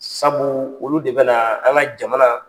Sabu olu de bɛnaa an ŋa jamana